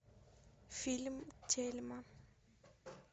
фильм тельма